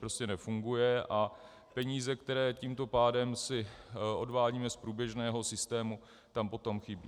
Prostě nefunguje a peníze, které tímto pádem si odvádíme z průběžného systému, tam potom chybí.